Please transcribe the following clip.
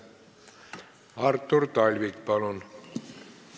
Artur Talvik, palun!